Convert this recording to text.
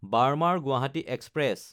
বাৰ্মাৰ–গুৱাহাটী express